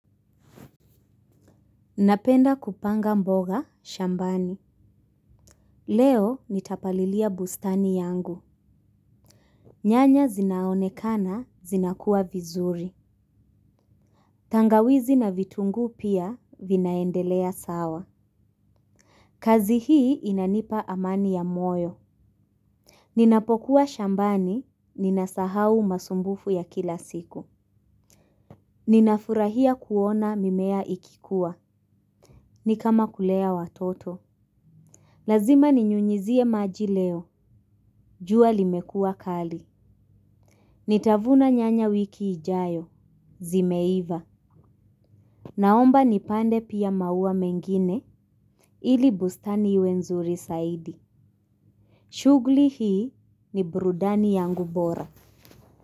Napenda kupanga mboga shambani. Leo nitapalilia bustani yangu. Nyanya zinaonekana, zinakua vizuri. Tangawizi na vitunguu pia vinaendelea sawa. Kazi hii inanipa amani ya moyo. Ninapokuwa shambani, ninasahau masumbufu ya kila siku. Ninafurahia kuona mimea ikikua. Ni kama kulea watoto. Lazima ninyunyizie maji leo. Jua limekuwa kali. Nitavuna nyanya wiki ijayo. Zimeiva. Naomba nipande pia maua mengine ili bustani iwe nzuri zaidi. Shughuli hii ni burudani yangu bora.